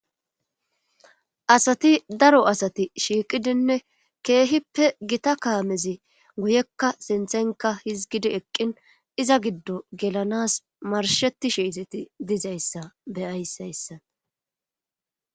asati daro asati shiiqidinne keehippe gita kaamezi guyekka sinthenka hizgidi eqqin iza giddo gelanas marshetishe izeti dizayssa be'ayis